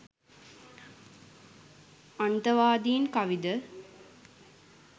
අන්තවාදින් කවිද